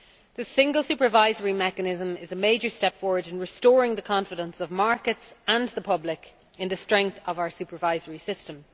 The Single Supervisory Mechanism is a major step forward in restoring the confidence of markets and the public in the strength of our supervisory system.